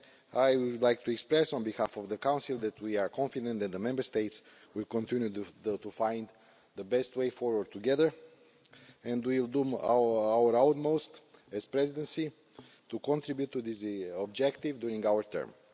I would like to express, on behalf of the Council, that we are confident that the Member States will continue to find the best way forward together and we will do our utmost as Presidency to contribute to this objective during our term.